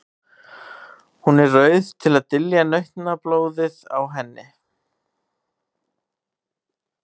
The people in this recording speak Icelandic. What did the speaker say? Hún er rauð til að dylja nautablóðið á henni.